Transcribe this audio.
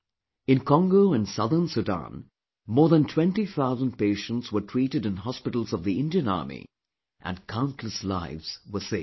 In Congo and Southern Sudan more than twenty thousand patients were treated in hospitals of the Indian army and countless lives were saved